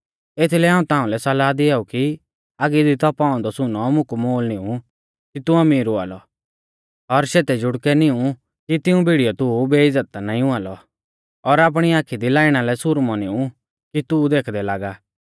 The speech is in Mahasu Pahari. एथीलै हाऊं ताउंलै सलाह दिआऊ कि आगी दी तौपाऔ औन्दौ सुनौ मुकु मोल निऊं कि तू अमीर हुआ लौ और शेतै जुड़कै निऊं कि तिऊं भिड़ीयौ तू बेइज़्ज़त ता नाईं हुआ लौ और आपणी आखी दी लाईणा लै सुरमौ निऊं कि तू देखदै लागा